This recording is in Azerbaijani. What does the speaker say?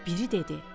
Biri dedi: